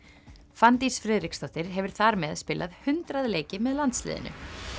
Fanndís Friðriksdóttir hefur þar með spilað hundrað leiki með landsliðinu